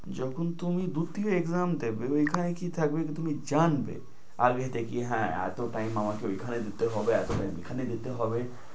যখন তুমি দুটি exam দিবে, ঐখানে কি থাকবে তুমি জানবে। আর এটা কি হ্যাঁ এতো time আমার কি ওখানে দিতে হবে, এতো time এখানে দিতে হবে।